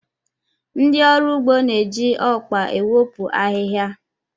Ndị ọrụ ugbo na-eji ọkpa ewepụ ahịhịa.